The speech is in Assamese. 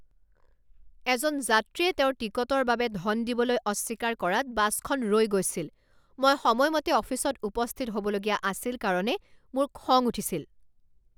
এজন যাত্ৰীয়ে তেওঁৰ টিকটৰ বাবে ধন দিবলৈ অস্বীকাৰ কৰাত বাছখন ৰৈ গৈছিল। মই সময়মতে অফিচত উপস্থিত হ'বলগীয়া আছিল কাৰণে মোৰ খং উঠিছিল।